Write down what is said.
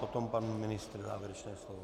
Potom pan ministr závěrečné slovo.